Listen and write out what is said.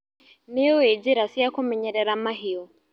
Nĩũĩ njĩra cia kũmenyerera mahiũ.